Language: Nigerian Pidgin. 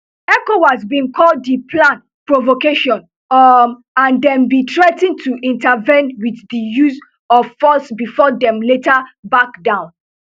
ecowas bin call di plan provocation um and dem bin threa ten to intervene wit di use of force bifor dem later back down